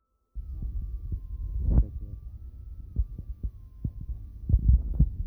Chang tebutik akobo tetet ab boiboyot eng teset ab tai nebo tugul